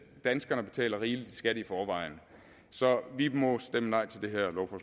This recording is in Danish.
danskerne betaler rigeligt i skat i forvejen så vi må stemme